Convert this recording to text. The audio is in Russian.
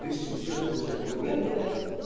прежде чем с чего-то начать но нет блять